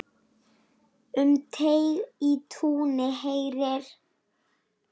Um teig í túni heyri.